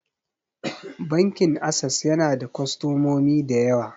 Bankin Ases yana da kostomomi da yawa.